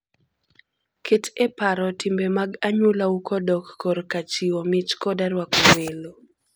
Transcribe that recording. Ket e paro timbe mag anyuolau kodok korka chiwo mich koda rwako welo.